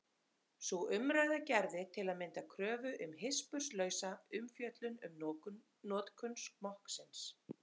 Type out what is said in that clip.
Sú umræða gerði til að mynda kröfu um hispurslausa umfjöllun um notkun smokksins.